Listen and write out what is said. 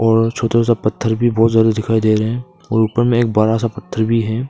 और छोटा सा पत्थर भी बहुत ज्यादा दिखाई दे रहे और ऊपर में एक बड़ा पत्थर भी है।